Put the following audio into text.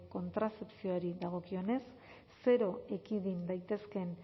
kontrazepzioari dagokionez zero ekidin daitezkeen